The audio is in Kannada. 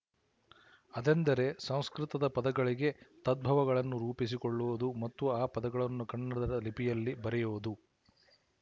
ಅದೆಂದರೆ ಸಂಸ್ಕೃತ ದ ಪದಗಳಿಗೆ ತದ್ಭವಗಳನ್ನು ರೂಪಿಸಿಕೊಳ್ಳುವುದು ಮತ್ತು ಆ ಪದಗಳನ್ನು ಕನ್ನಡದ ಲಿಪಿಯಲ್ಲಿ ಬರೆಯುವುದು